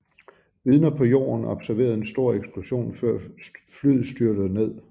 Vidner på jorden observerede en stor eksplosion før flyet styrtede ned